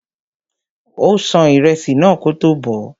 Ó ṣan ìrẹsì náà kótó bọ̀ọ́.